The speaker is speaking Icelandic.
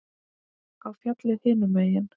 Á fjallið hinum megin.